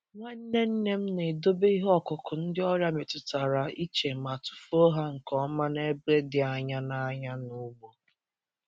Nwanne nne m na-edobe ihe ọkụkụ ndị ọrịa metụtara iche ma tụfuo ha nke ọma n’ebe dị anya na anya na ugbo.